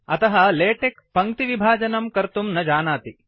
अतः लेटेक्स पङ्क्ति विभजनं कर्तुं न जानाति